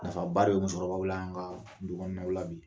Nafaba de bɛ musokɔrɔbaw la an ka dukɔnɔnaw la bi